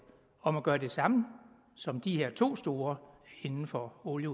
om at gøre det samme som de her to store inden for olie